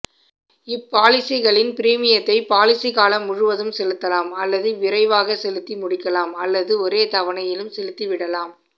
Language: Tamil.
இப்பாலிசிகளின் ப்ரீமியத்தை பாலிசிகாலம் முழுவதும் செலுத்தலாம் அல்லது விரைவாக செலுத்தி முடிக்கலாம் அல்லது ஒரே தவணையிலும் செலுத்தி விடலாம்